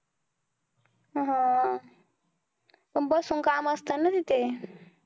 हा. पण बसून काम असतं ना तिथे